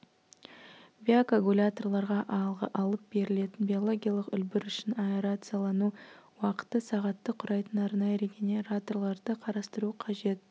биокоагуляторларға алып берілетін биологиялық үлбір үшін аэрациялану уақыты сағатты құрайтын арнайы регенераторларды қарастыру қажет